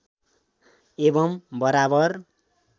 एवम् बराबर